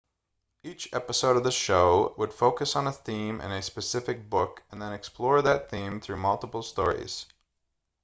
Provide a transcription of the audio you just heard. each episode of the show would focus on a theme in a specific book and then explore that theme through multiple stories